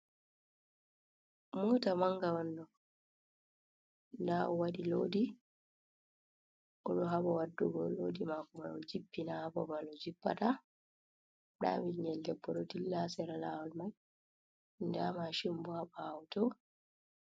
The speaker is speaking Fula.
Mota manga on ɗo nda o waɗi lodi, o ɗo haba waddugo lodi mako man o jippina ha babal o jippata, nda bingel debbo ɗo dillla ha sera lawol man, nda mashin bo ha ɓawo to.